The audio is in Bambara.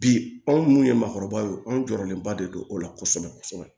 Bi anw munnu ye maakɔrɔba ye anw jɔɔrɔlenba de don o la kosɛbɛ kosɛbɛ